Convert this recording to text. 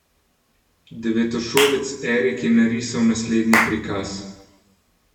Devetošolec Erik je narisal naslednji prikaz.